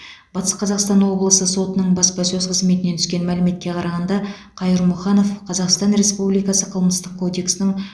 батыс қазақстан облысы сотының баспасөз қызметінен түскен мәліметке қарағанда қайырмұханов қазақстан республикасы қылмыстық кодексінің